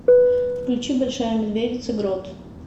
включи большая медведица грот